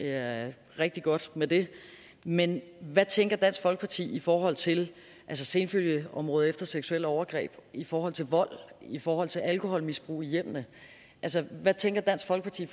er rigtig godt med det men hvad tænker dansk folkeparti i forhold til senfølgeområdet efter seksuelle overgreb i forhold til vold i forhold til alkoholmisbrug i hjemmene altså hvad tænker dansk folkeparti